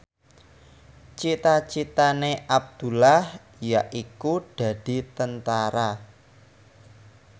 cita citane Abdullah yaiku dadi Tentara